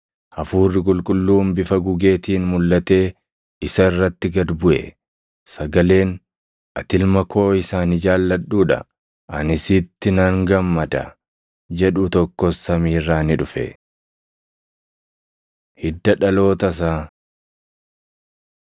Hafuurri Qulqulluun bifa gugeetiin mulʼatee isa irratti gad buʼe. Sagaleen, “Ati Ilma koo isa ani jaalladhuu dha; ani sitti nan gammada” jedhu tokkos samii irraa ni dhufe. Hidda Dhaloota Isaa